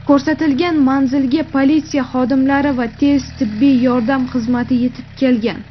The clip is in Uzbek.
Ko‘rsatilgan manzilga politsiya xodimlari va tez tibbiy yordam xizmati yetib kelgan.